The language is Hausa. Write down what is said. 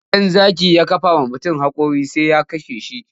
Idan zaki ya kafa wa mutum haƙora sai ya kashe shi.